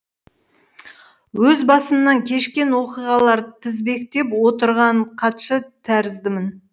өз басымнан кешкен оқиғалар тізбектеп отырған хатшы тәріздімін